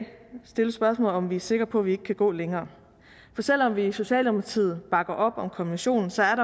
stille spørgsmålet om om vi er sikre på at vi ikke kan gå længere for selv om vi i socialdemokratiet bakker op om konventionen så er